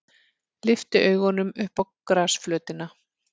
Lyfti augunum upp á grasflötina.